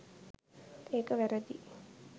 ඒක වැරදියි